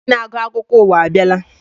Onye na-agụ akụkọ ụwa abịala.